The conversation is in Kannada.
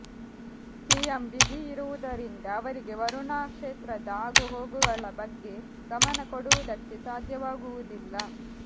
ಸಿಎಂ ಬ್ಯುಸಿ ಇರುವುದರಿಂದ ಅವರಿಗೆ ವರುಣಾ ಕ್ಷೇತ್ರದ ಆಗುಹೋಗುಗಳ ಬಗ್ಗೆ ಗಮನ ಕೊಡುವುದಕ್ಕೆ ಸಾಧ್ಯವಾಗುವುದಿಲ್ಲ